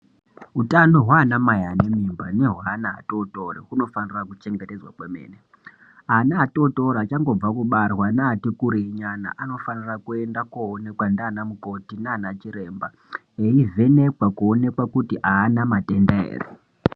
Hutano hwana mai ane mimba nehweana adodori unofanirwa kuchengetedzwa kwemene ana atotori achangobva kubarwa achangobva kubarwa neati kurei nyana vanofanira kuende koonekwa ngana mukoti nana chiremba veivhenekwa kuti avana matenda ere.